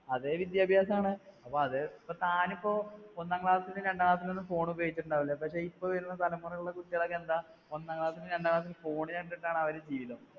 അതേ വിദ്യാഭ്യാസമാണ്, അപ്പാ അതെ ഇപ്പോ താൻ ഇപ്പോ ഒന്നാം class ലും രണ്ടാം class ലും ഒന്നും phone ഉപയോഗിച്ചിട്ട് ഉണ്ടാകില്ല, പക്ഷേ ഇപ്പോ വരുന്ന തലമുറയിലെ കുട്ടികൾ എന്താ, ഒന്നാം class ലും, രണ്ടാം class ലും phone കണ്ടിട്ടാണ് അവരുടെ ജീവിതം